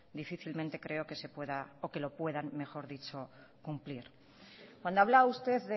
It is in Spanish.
difícilmente creo que se pueda o que lo puedan mejor dicho cumplir cuando habla usted